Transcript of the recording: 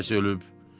filankəs ölüb,